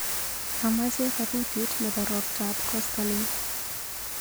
Amache kabutit nebo roptap koskoliny.